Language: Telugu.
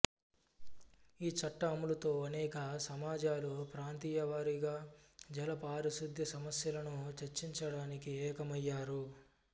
ఈ చట్ట అమలుతో అనేక సమాజాలు ప్రాంతీయ వారీగా జల పారిశుధ్య సమస్యలను చర్చించడానికి ఏకమయ్యారు